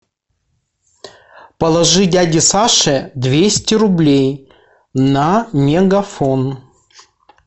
положи дяде саше двести рублей на мегафон